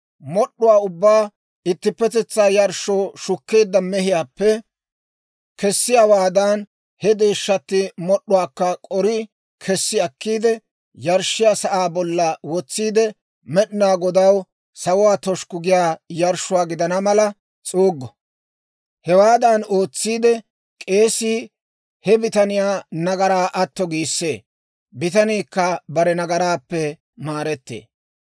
Mod'd'uwaa ubbaa ittippetetsaa yarshshoo shukkeedda mehiyaappe kessiyaawaadan, he deeshshatti mod'd'uwaakka k'oriide kessi akkiide, yarshshiyaa sa'aa bolla wotsiide, Med'inaa Godaw sawuwaa toshukku giyaa yarshshuwaa gidana mala s'uuggo. Hewaadan ootsiide, k'eesii he bitaniyaa nagaraa atto giissee; bitaniikka bare nagaraappe maarettee.